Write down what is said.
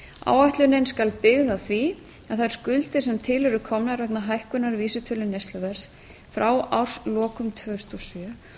áætlunin skal byggð á því að þær skuldir sem til eru komnar vegna hækkunar vísitölu neysluverðs frá árslokum tvö þúsund